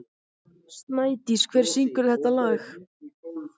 Snædís, hver syngur þetta lag?